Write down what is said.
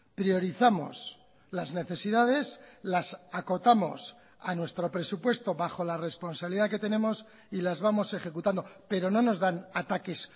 priorizamos las necesidades las acotamos a nuestro presupuesto bajo la responsabilidad que tenemos y las vamos ejecutando pero no nos dan ataques